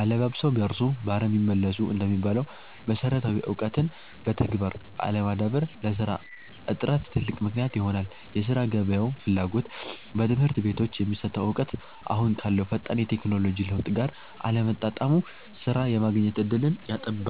'አለባብሰው ቢያርሱ በአረም ይመለሱ' እንደሚባለው፣ መሰረታዊ እውቀትን በተግባር አለማዳበር ለሥራ እጥረት ትልቅ ምክንያት ይሆናል የሥራ ገበያው ፍላጎት፦ በትምህርት ቤቶች የሚሰጠው እውቀት አሁን ካለው ፈጣን የቴክኖሎጂ ለውጥ ጋር አለመጣጣሙ ሥራ የማግኘት ዕድልን ያጠባል።